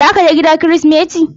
Zaka je gida kirismeti?